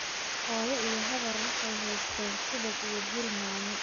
Hooyo iyo habar waxay haysteen subag iyo bur yaanyo